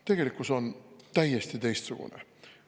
Tegelikkus on täiesti teistsugune.